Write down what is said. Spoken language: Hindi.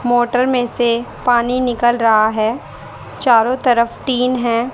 मोटर में से पानी निकल रहा है चारों तरफ टीन हैं।